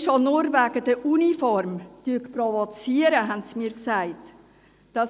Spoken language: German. Es wurde mir gesagt, die Polizei provoziere bereits allein durch das Tragen der Uniform.